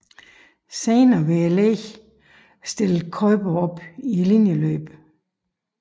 Senere ved legene stilled Kuiper op i linjeløbet